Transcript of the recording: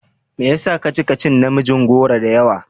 Me yasa kaci ka cin namijin goro da yawa?